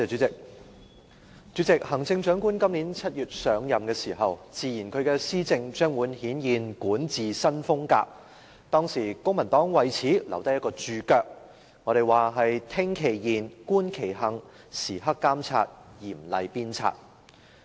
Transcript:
主席，行政長官今年7月上任時，自言她的施政將會顯現"管治新風格"，當時公民黨為此留下一個註腳說："聽其言、觀其行、時刻監察、嚴厲鞭策"。